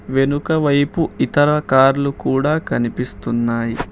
వెనకవైపు ఇతర కార్లు కూడా కనిపిస్తున్నాయి.